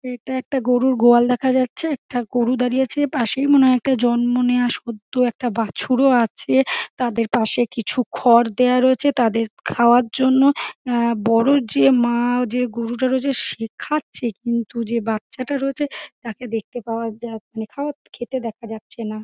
এটা একটা গরুর গোয়াল দেখা যাচ্ছে একটা গরু দাঁড়িয়ে আছে পাশেই মনে হয় জন্ম নেওয়া সদ্য একটা বাছুরও আছে তাদের পাশে কিছু খড় দেওয়া রয়েছে তাদের খাওয়ার জন্য অ্যা বড়ো যে মা- আ যে গরুটা রয়েছে শেখাচ্ছে কিন্তু যে বাচ্চাটা রয়েছে তাকে দেখতে পাওয়া যা মানে কে খেতে দেখা যাচ্ছে না।